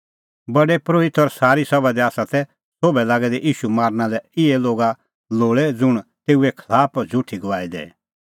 प्रधान परोहित और सारी सभा ती ईशू मारना लै इहै लोगा लोल़ै लागै दै ज़ुंण तेऊए खलाफ झ़ुठी गवाही दैए